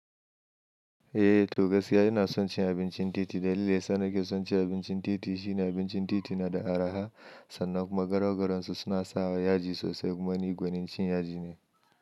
Eh, to gaskiya ina son cin abincin titi dalilin da yasa nake son cin abincin titi shi ne abincin titi na da araha sannan kuma garaugaronsu suna sa yaji sosai kuma ni gwanin cin yaji ne.